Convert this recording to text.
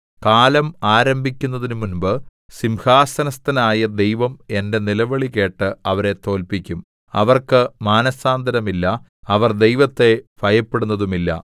കാലം ആരംഭിക്കുന്നതിനുമുമ്പ് സിംഹാസനസ്ഥനായ ദൈവം എന്റെ നിലവിളികേട്ട് അവരെ തോല്പിക്കും സേലാ അവർക്ക് മാനസാന്തരമില്ല അവർ ദൈവത്തെ ഭയപ്പെടുന്നതുമില്ല